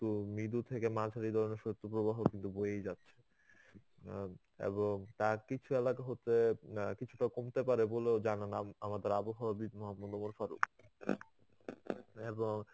কিন্তু মৃদু থেকে মাঝারি ধরনের শৈত্য প্রবাহ কিন্তু বয়েই যাচ্ছে অ্যাঁ এবং তার কিছু এলাকা হতে না কিছুটা কমতে পারে বলেও জানালাম আমাদের আবহাওয়াবিদ মহম্মদ